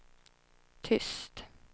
tyst